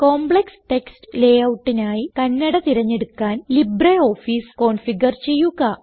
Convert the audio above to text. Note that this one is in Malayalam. കോംപ്ലക്സ് ടെക്സ്റ്റ് layoutനായി കന്നഡ തിരഞ്ഞെടുക്കാൻ ലിബ്രിയോഫീസ് കോൺഫിഗർ ചെയ്യുക